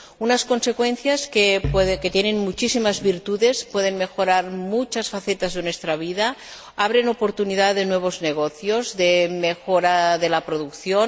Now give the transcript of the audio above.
unas consecuencias que tienen muchísimas virtudes pueden mejorar muchas facetas de nuestra vida, abren oportunidad de nuevos negocios y de mejora de la producción.